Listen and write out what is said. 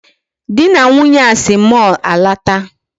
Di na Nwunye a si mall alọta.